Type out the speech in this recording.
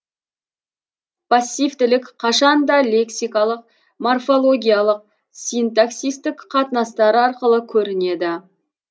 поссивтілік қашанда лексикалык морфологиялык синтаксистік қатынастар арқылы көрінеді